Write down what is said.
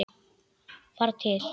Fara til